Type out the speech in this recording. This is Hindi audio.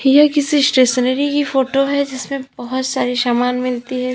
यह किसी स्टेशनरी की फोटो है जिसमें बहोत सारे सामान मिलती है।